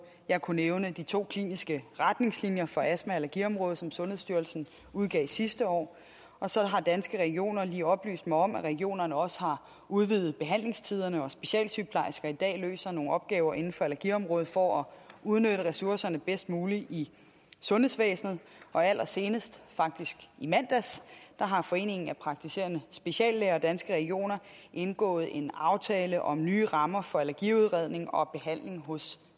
jeg kunne nævne de to kliniske retningslinjer for astma og allergiområdet som sundhedsstyrelsen udgav sidste år så har danske regioner lige oplyst mig om at regionerne også har udvidet behandlingstiderne og at specialsygeplejersker i dag løser nogle opgaver inden for energiområdet for at udnytte ressourcerne bedst muligt i sundhedsvæsenet allersenest faktisk i mandags har foreningen af praktiserende speciallæger og danske regioner indgået en aftale om nye rammer for allergiudredning og behandling hos